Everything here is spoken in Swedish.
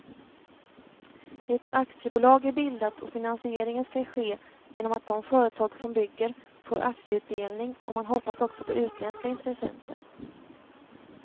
Ett aktiebolag är bildat och finansieringen skall ske genom att de företag som bygger får aktieutdelning och man hoppas också på utländska intressenter.